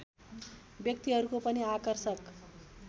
व्यक्तिहरूको पनि आकर्षक